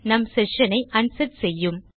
நம் செஷன் ஐ அன்செட் செய்யும்